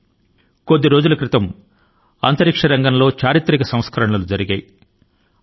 కేవలం కొన్ని రోజుల క్రితం అంతరిక్ష రంగం లో చరిత్రాత్మకమైనటువంటి మార్పుల ను ప్రవేశపెట్టడమైంది